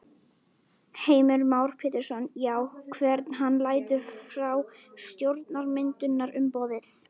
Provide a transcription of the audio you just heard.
Heimir Már Pétursson: Já, hvern hann lætur frá stjórnarmyndunarumboðið?